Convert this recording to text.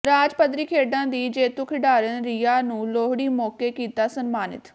ਰਾਜ ਪੱਧਰੀ ਖੇਡਾਂ ਦੀ ਜੇਤੂ ਖਿਡਾਰਨ ਰੀਆਂ ਨੂੰ ਲੋਹੜੀ ਮੌਕੇ ਕੀਤਾ ਸਨਮਾਨਿਤ